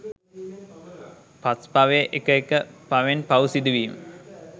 පස් පවේ එක එක පවෙන් පව් සිදුවීම